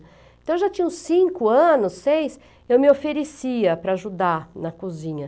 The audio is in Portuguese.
Então, eu já tinha uns cinco anos, seis, eu me oferecia para ajudar na cozinha.